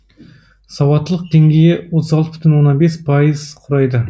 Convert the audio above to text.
сауаттылық деңгейі отыз алты бүтін оннан бес пайыз құрайды